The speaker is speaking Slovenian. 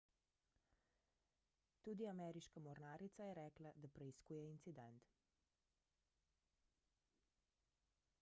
tudi ameriška mornarica je rekla da preiskuje incident